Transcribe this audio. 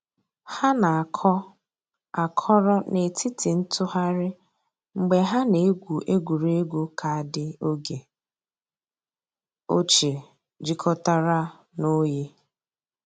Hà nà-àkọ̀ àkọ̀rò nètìtì ntụ̀ghàrì mgbè hà nà-ègwù ègwè́ré́gwụ̀ kaadị ògè òchìè jìkọ̀tàrà nà òyì.